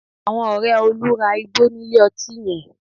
Àwọn ọ̀rẹ́ Olú ra igbó nílé ọtí yẹn